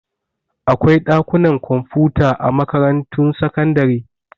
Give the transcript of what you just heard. Akwai ɗakunan kwamfuta a makarantun sakandare.